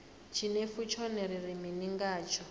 tshinefu tshone ri ri mini ngatsho